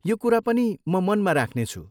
यो कुरा पनि म मनमा राख्नेछु।